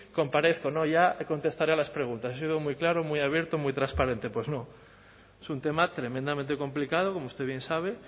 comparezco no ya contestaré a las preguntas ha sido muy claro muy abierto muy transparente pues no es un tema tremendamente complicado como usted bien sabe